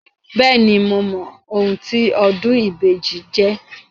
Bẹ́ẹ̀ni, mo mọ ohun tí ọdún ìbejì jẹ́.